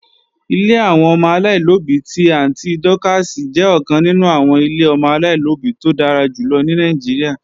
Ilé àwọn ọmọ aláìlóbí ti Àntí Dọ́kààsì jẹ́ ọ̀kan nínú àwọn ilé ọmọ aláìlóbí tó dára jùlọ ní Nàìjíríà